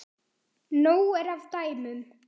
Nóg er af dæmum.